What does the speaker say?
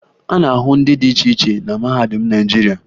A na-ahụ ndị dị iche iche na mahadum Naịjirịa